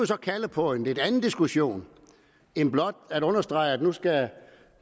så kalde på en lidt anden diskussion end blot at understrege at